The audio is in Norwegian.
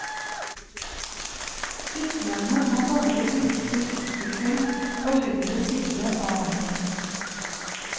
Syklende må bare bruke sykkelfelt på høyre side av veien.